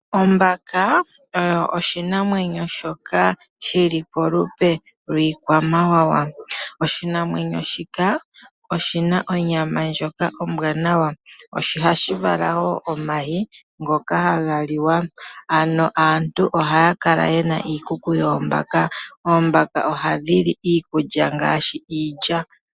Ombaka oyo oshinamwenyo shoka shili polupe lwiikwamawawa. Oshinamwenyo shika oshina onyama ndyoka ombwaanawa, sho ohashi vala wo omayi ngoka haga liwa. Ano aantu ohaya kala yena iikuku yoombaka. Oombaka ohadhi li iikulya ngaashi iilya.